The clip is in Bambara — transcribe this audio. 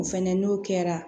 O fɛnɛ n'o kɛra